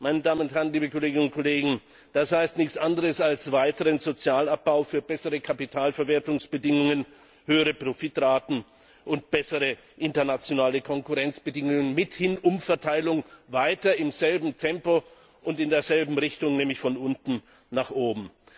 Meine Damen und Herren, liebe Kolleginnen und Kollegen, das heißt nichts anderes als weiterer Sozialabbau für bessere Kapitalverwertungsbedingungen, höhere Profitraten und bessere internationale Konkurrenzbedingungen, mithin Umverteilung weiter im selben Tempo und in derselben Richtung, nämlich von unten nach oben.